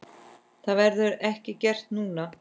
Það verður ekki gert núna.